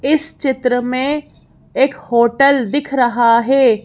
इस चित्र में एक होटल दिख रहा है।